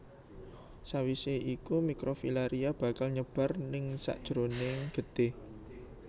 Sawisé iku mikrofilaria bakal nyebar ningsakjeroning getih